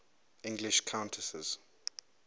english countesses